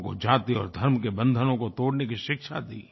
लोगों को जाति और धर्म के बंधनों को तोड़ने की शिक्षा दी